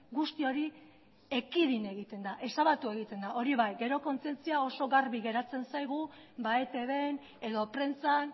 guzti hori ekidin egiten da ezabatu egiten da hori bai gero kontzientzia oso garbi geratzen zaigu etbn edo prentsan